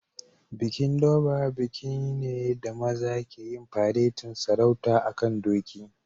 Bikin Durbar bikin ne da maza ke yin faretin sarauta a'kan doki.